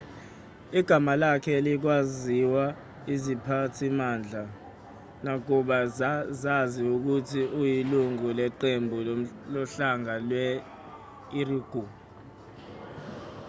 igama lakhe alikaziwa iziphathimandla nakuba zazi ukuthi uyilungu leqembu lohlanga lwe-uighur